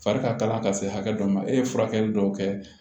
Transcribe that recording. Fari ka kala ka se hakɛ dɔ ma e ye furakɛli dɔw kɛ